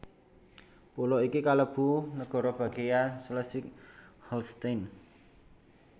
Pulo iki kalebu negara bagéan Schleswig Holstein